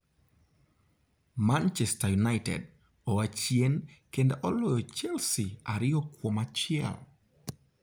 Manchester United oa chien kendo oloyo Chelsea ariyo kuom achiel.